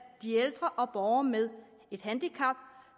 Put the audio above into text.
de ældre og borgere med et handicap